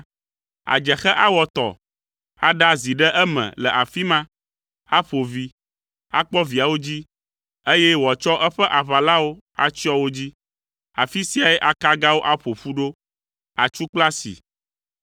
Adzexe awɔ atɔ, aɖa azi ɖe eme le afi ma, aƒo vi, akpɔ viawo dzi, eye wòatsɔ eƒe aʋalawo atsyɔ wo dzi. Afi siae akagawo aƒo ƒu ɖo, atsu kple asi.